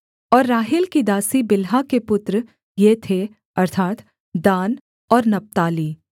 और राहेल की दासी बिल्हा के पुत्र ये थे अर्थात् दान और नप्ताली